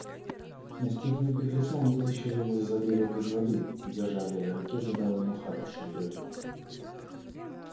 настигнув беглеца он вытащил его за загривок из воды и держа в левой руке задал ему хорошую трёпку